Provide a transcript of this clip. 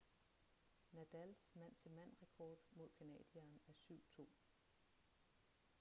nadals mand-til-mand rekord mod canadieren er 7-2